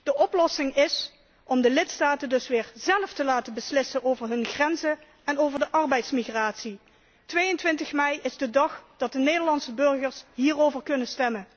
De oplossing is om de lidstaten dus weer zelf te laten beslissen over hun grenzen en over de arbeidsmigratie. 22 Mei is de dag dat de Nederlandse burgers hierover kunnen stemmen.